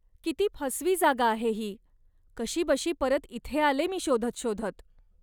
किती फसवी जागा आहे ही, कशीबशी परत इथे आले मी शोधत शोधत.